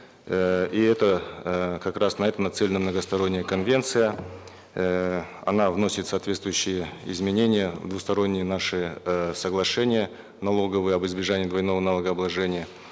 эээ и это эээ как раз на это нацелена многосторонняя конвенция эээ она вносит соответствующие изменения в двусторонние наши э соглашения налоговые об избежании двойного налогообложения